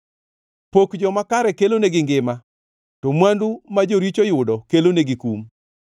Pok joma kare kelonegi ngima, to mwandu ma joricho yudo kelonegi kum.